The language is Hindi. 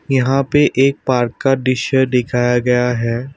यहाँ पे एक पार्क का दृश्य दिखाया गया है।